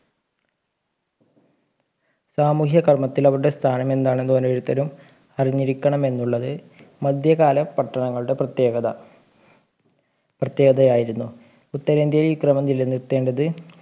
സാമൂഹിക കർമ്മത്തിൽ അവരുടെ സ്ഥാനം എന്ന് ഓരോരുത്തരും അറിഞ്ഞിരിക്കണം എന്നുള്ളത് മധ്യകാല പട്ടണങ്ങളുടെ പ്രത്യേകത പ്രത്യേകതയായിരുന്നു ഉത്തരേന്ത്യയിൽ ഈ ക്രമം നിലനിർത്തേണ്ടത്